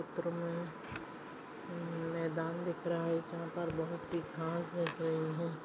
इस चित्र मे मेदान दिख रहा है यहा पर बहुतसी घास दिख रही है।